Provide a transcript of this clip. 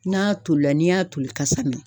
N'a tolila n'i y'a toli kasa mɛn.